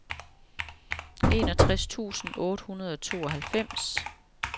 enogtres tusind otte hundrede og tooghalvfems